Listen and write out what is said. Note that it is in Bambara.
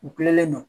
U kulelen don